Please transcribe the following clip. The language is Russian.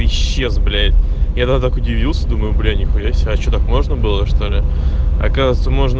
исчез блять я тогда так удивился думаю бля ни хуя себе а что так можно было что ли оказывается можно